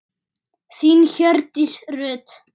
Þín Hjördís Rut.